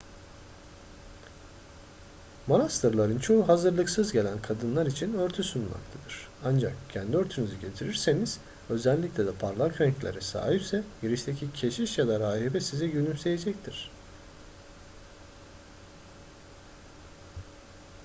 manastırların çoğu hazırlıksız gelen kadınlar için örtü sunmaktadır ancak kendi örtünüzü getirirseniz özellikle de parlak renklere sahipse girişteki keşiş ya da rahibe size gülümseyecektir